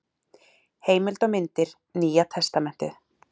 Heimild og myndir: Nýja testamentið.